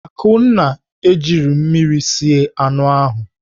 Akunna ejighị mmiri sie anụ ahụ.